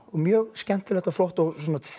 og mjög skemmtilegt og flott og